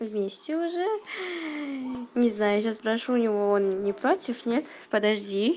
вместе уже не знаю сейчас спрошу у него он не против нет подожди